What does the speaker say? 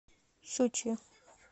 щучье